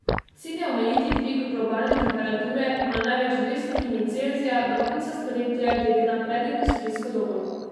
Cilj je omejiti dvig globalne temperature na največ dve stopinji Celzija do konca stoletja glede na predindustrijsko dobo.